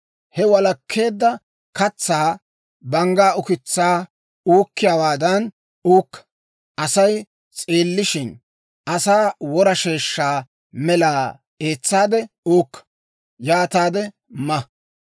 He walakkeedda katsaa banggaa ukitsaa uukkiyaawaadan uukka; Asay s'eellishshin, asaa wora sheeshsha mela eetsaade uukka; yaataade ma.